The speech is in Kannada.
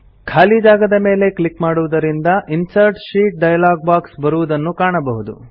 ಖಾಲಿ ಜಾಗದ ಮೇಲೆ ಕ್ಲಿಕ್ ಮಾಡುವುದರಿಂದ ಇನ್ಸರ್ಟ್ ಶೀಟ್ ಡೈಲಾಗ್ ಬಾಕ್ಸ್ ಬರುವುದನ್ನು ಕಾಣಬಹುದು